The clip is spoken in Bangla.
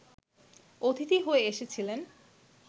অতিথি হয়ে এসেছিলেন